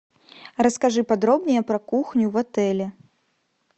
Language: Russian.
расскажи подробнее про кухню в отеле